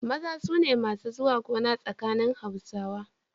Maza su ne masu zuwa gona tsakanin Hausawa.